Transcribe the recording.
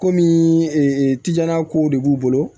Komi tiga kow de b'u bolo